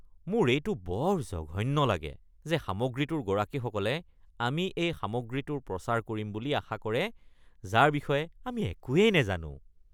মোৰ এইটো বৰ জঘন্য লাগে যে সামগ্ৰীটোৰ গৰাকীসকলে আমি এই সামগ্ৰীটোৰ প্ৰচাৰ কৰিম বুলি আশা কৰে যাৰ বিষয়ে আমি একোৱেই নাজানো।